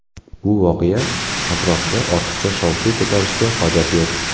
Bu voqea atrofida ortiqcha shov-shuv ko‘tarishga hojat yo‘q.